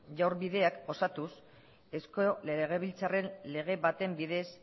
bideak osatuz eusko legebiltzarren lege baten bidez